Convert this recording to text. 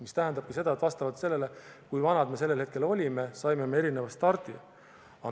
See tähendabki seda, et vastavalt sellele, kui vanad me sellel hetkel olime, saime me erineva stardi.